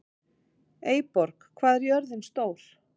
Eyborg, hvað er jörðin stór?